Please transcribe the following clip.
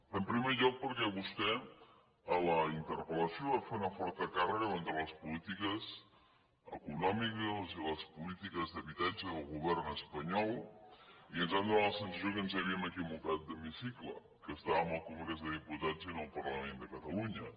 en primer lloc perquè vostè a la interpel·lació va fer una forta càrrega contra les polítiques econòmiques i les polítiques d’habitatge del govern es panyol i ens va donar la sensació que ens havíem equi vocat d’hemicicle que estàvem al congrés dels diputats i no al parlament de catalunya